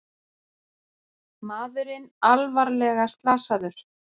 Maðurinn alvarlega slasaður